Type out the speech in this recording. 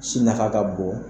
Sin nafa ka bon